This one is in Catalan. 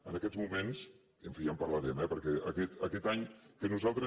en aquests moments en fi ja en parlarem eh perquè aquest any que nosaltres